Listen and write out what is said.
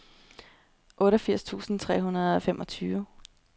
otteogfirs tusind tre hundrede og femogfyrre